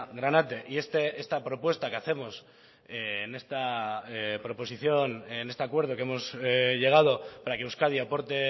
granate y esta propuesta que hacemos en esta proposición en este acuerdo que hemos llegado para que euskadi aporte